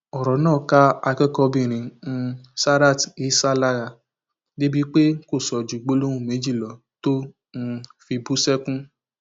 ọrọ náà ká akẹkọọbìnrin um sarat isah lára débìí pé kò sọ ju gbólóhùn méjì lọ tó um fi bú sẹkún